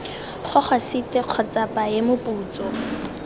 gogwa site kgotsa paye moputso